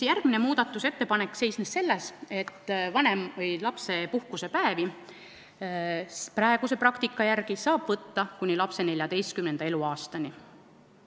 Järgmine muudatusettepanek seisnes selles, et lapsepuhkusepäevi saab praeguse praktika järgi välja võtta kuni lapse 14. eluaastani.